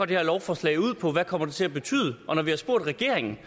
det her lovforslag går ud på hvad det kommer til at betyde og når vi har spurgt regeringen